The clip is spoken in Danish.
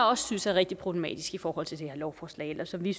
også synes er rigtig problematisk i forhold til det her lovforslag og som vi